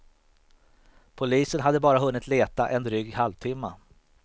Polisen hade bara hunnit leta en dryg halvtimma.